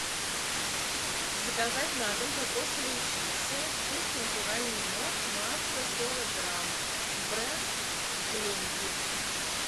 заказать на дом кокосовые чипсы вкус натуральный мед масса сорок грамм бренд гленди